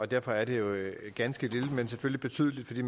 derfor er det jo et ganske lille lovforslag men selvfølgelig betydeligt for de